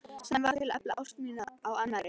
Sem varð til að efla ást mína á annarri.